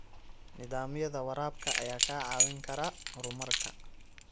Nidaamyada waraabka ayaa kaa caawin kara horumarka.